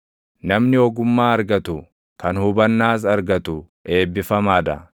Namni ogummaa argatu kan hubannaas argatu eebbifamaa dha;